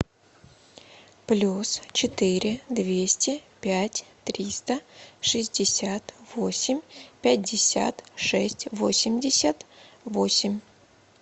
плюс четыре двести пять триста шестьдесят восемь пятьдесят шесть восемьдесят восемь